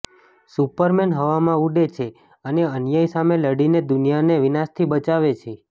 superman હવામાં ઊડે છે અને અન્યાય સામે લડીને દુનિયાને વિનાશથી બચાવે છે